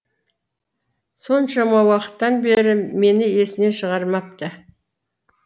соншама уақыттан бері мені есінен шығармапты